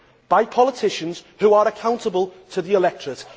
level by politicians who are accountable to the electorate.